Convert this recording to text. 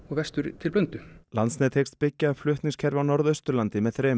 til Blöndu landsnet hyggst byggja upp flutningskerfi á Norðausturlandi með þremur